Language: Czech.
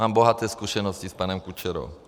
Mám bohaté zkušenosti s panem Kučerou.